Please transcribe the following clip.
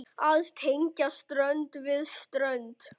Að tengja strönd við strönd.